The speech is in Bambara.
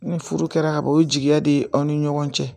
Ni furu kɛra kaban o ye jigiya de ye aw ni ɲɔgɔn cɛ